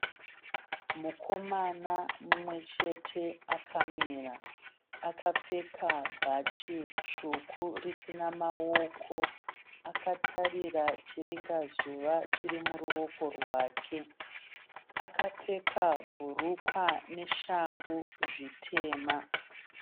Mukomana mumwe chete akamira. Akapfeka bhachi dzvuku risina maoko. Akatarira chiringazuva chirimuruoko rwake. Akapfeka bhurukwa neshangu zvitema.